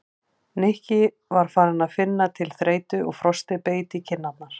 Nikki var farinn að finna til þreytu og frostið beit í kinn- arnar.